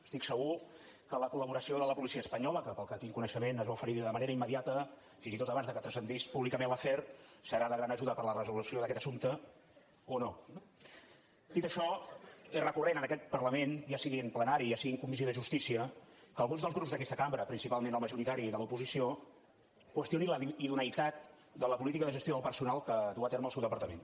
estic segur que la col·laboració de la policia espanyola que pel que tinc coneixement es va oferir de manera immediata fins i tot abans que transcendís públicament l’afer serà de gran ajuda per a la resolució d’aquest assumpte o no eh dit això és recurrent en aquest parlament ja sigui en plenari ja sigui en comissió de justícia que alguns dels grups d’aquesta cambra principalment el majoritari de l’oposició qüestionin la idoneïtat de la política de gestió del personal que duu a terme el seu departament